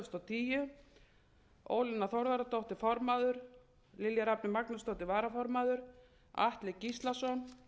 tíu ólína þorvarðardóttir formaður lilja rafney magnúsdóttir varaformaður atli gíslason